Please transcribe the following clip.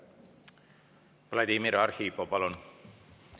Vladimir Arhipov, palun!